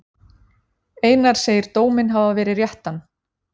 Einar segir dóminn hafa verið réttan.